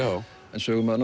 en sögumaður